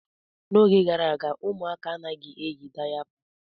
N'oge gara aga, ụmụaka anaghị eyi dayapa.